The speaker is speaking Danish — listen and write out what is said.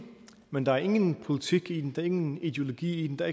men der er ingen politik i den er ingen ideologi i den der